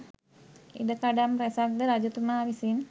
ඉඩකඩම් රැසක් ද රජතුමා විසින්